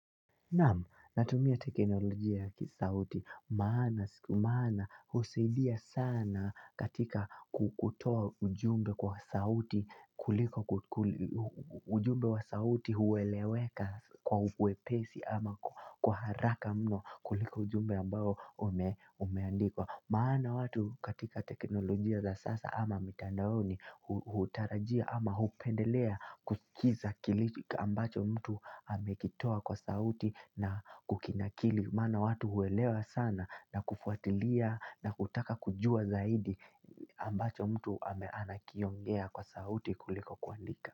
Naamu, natumia teknolojia ya kisauti maana siku maana husidia sana katika kukutoa ujumbe kwa sauti kuliko ujumbe wa sauti huweleweka kwa uwepesi ama kuharaka mno kuliko ujumbe ambao umeandikwa. Maana watu katika teknolojia za sasa ama mitandaoni hutarajia ama hupendelea kusikiza kilitika ambacho mtu amekitoa kwa sauti na kukinakili. Maana watu huelewa sana na kufuatilia na kutaka kujua zaidi ambacho mtu ameanakiongea kwa sauti kuliko kuandika.